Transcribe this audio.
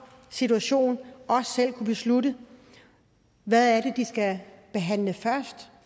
situation selv kan beslutte hvad det er de skal behandle først